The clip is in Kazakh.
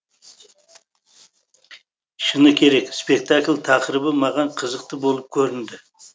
шыны керек спектакль тақырыбы маған қызықты болып көрінді